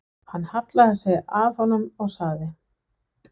Hann hallaði sér að honum og sagði